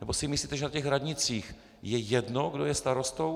Nebo si myslíte, že na těch radnicích je jedno, kdo je starostou?